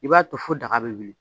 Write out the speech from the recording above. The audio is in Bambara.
I b'a to fo daga bɛ wili